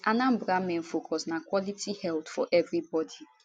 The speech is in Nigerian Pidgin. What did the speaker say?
miss anambra main focus na quality health for everybody